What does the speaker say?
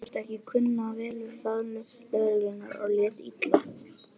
Hann virtist ekki kunna vel við faðmlög lögreglunnar og lét illa.